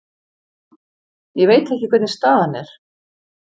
Ég veit ekki hvernig staðan er.